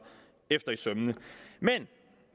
efter i sømmene men